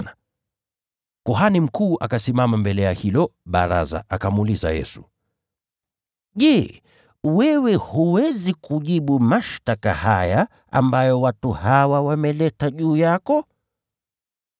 Basi kuhani mkuu akasimama mbele yao, akamuuliza Yesu, “Je, wewe hutajibu? Ni ushahidi gani hawa watu wanauleta dhidi yako?”